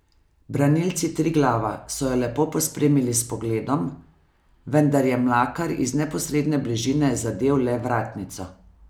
Branilci Triglava so jo le pospremili s pogledom, vendar je Mlakar iz neposredne bližine zadel le vratnico.